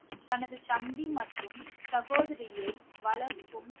தனது தம்பி மற்றும் சகோதரியை வளர்க்கும்